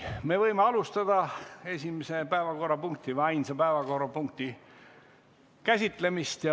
Me võime alustada esimese ja ainsa päevakorrapunkti käsitlemist.